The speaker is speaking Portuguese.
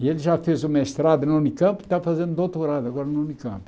E ele já fez o mestrado na Unicamp e está fazendo doutorado agora na Unicamp.